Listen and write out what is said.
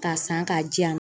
K'a san k'a diyan.